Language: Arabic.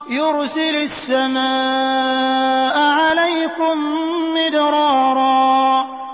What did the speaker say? يُرْسِلِ السَّمَاءَ عَلَيْكُم مِّدْرَارًا